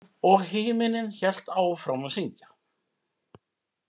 Og himinninn hélt áfram að syngja.